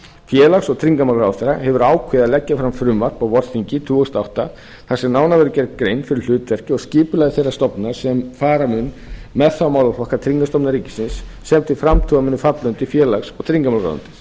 félags og tryggingamálaráðherra hefur ákveðið að leggja fram frumvarp á vorþingi tvö þúsund og átta þar sem nánar verður gerð grein fyrir hlutverki og skipulagi þeirrar stofnunar sem fara mun með þá málaflokka tryggingastofnunar ríkisins sem til framtíðar munu falla undir félags og tryggingamálaráðuneytið auk